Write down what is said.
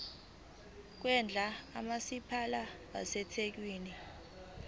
kwendle kamasipala wasethekwini